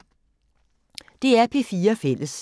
DR P4 Fælles